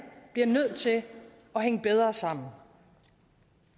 bliver nødt til at hænge bedre sammen